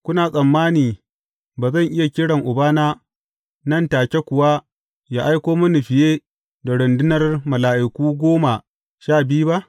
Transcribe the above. Kuna tsammani ba zan iya kira Ubana, nan take kuwa yă aiko mini fiye da rundunar mala’iku goma sha biyu ba?